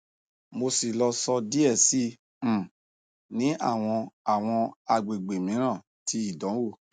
mo si loso die si um ni awọn awọn agbegbe miiran ti idanwo